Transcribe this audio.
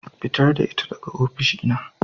Fitar da ita daga oficina.